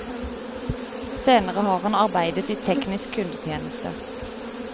Senere har han arbeidet i teknisk kundetjeneste.